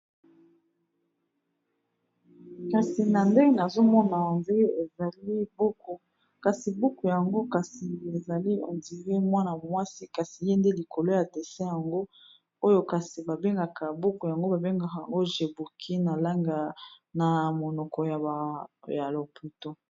Kasi na nde nazomona ondire ezali buku kasi buku yango kasi ezali ondire mwana mwasi kasi ye nde likolo ya dessin yango oyo kasi babengaka buku yango babengaka Jebouquine na langue na monoko ya ba loputo.